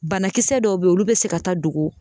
Banakisɛ dɔw bɛ yen olu bɛ se ka taa dogo.